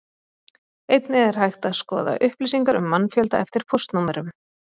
Einnig er hægt að skoða upplýsingar um mannfjölda eftir póstnúmerum.